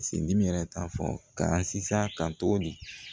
Sin dimi yɛrɛ t'a fɔ ka sina kan tuguni